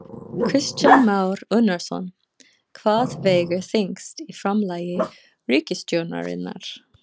Kristján Már Unnarsson: Hvað vegur þyngst í framlagi ríkisstjórnarinnar?